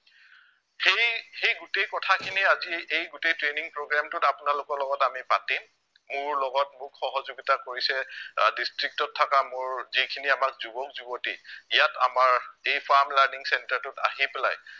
সেই সেই গোটেই কথাখিনি আজি এই গোটেই training programme টোত আপোনালোকৰ লগত আমি পতিম, মোৰ লগত মোক সহযোগিতা কৰিছে আহ district ত থকা মোৰ যিখিনি আমাৰ যুৱক যুৱতী ইয়াত আমাৰ দেই ফাৰ্ম লাৰ্নিং চেন্টাৰটোত আহি পেলাই